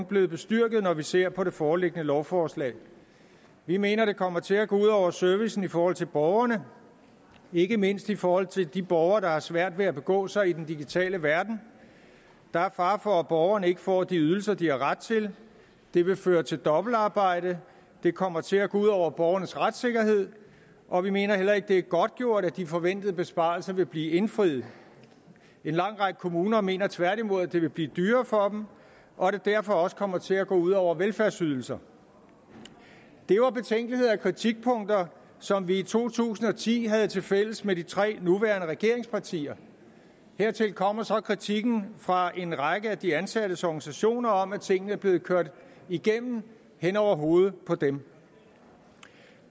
blevet bestyrket når vi ser på det foreliggende lovforslag vi mener at det kommer til at gå ud over servicen i forhold til borgerne ikke mindst i forhold til de borgere der har svært ved at begå sig i den digitale verden der er fare for at borgerne ikke får de ydelser de har ret til det vil føre til dobbeltarbejde det kommer til at gå ud over borgernes retssikkerhed og vi mener heller ikke at det er godtgjort at de forventede besparelser vil blive indfriet en lang række kommuner mener tværtimod at det vil blive dyrere for dem og at det derfor også kommer til at gå ud over velfærdsydelser det var betænkeligheder og kritikpunkter som vi i to tusind og ti havde tilfælles med de tre nuværende regeringspartier hertil kommer så kritikken fra en række af de ansattes organisationer om at tingene er blevet kørt igennem hen over hovedet på dem